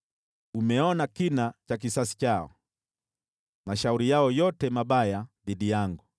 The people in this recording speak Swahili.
Umeona kina cha kisasi chao, mashauri yao yote mabaya dhidi yangu.